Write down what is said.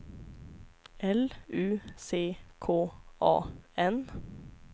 L U C K A N